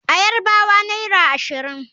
A Yarbawa naira ashirin.